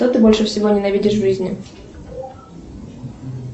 что ты больше всего ненавидишь в жизни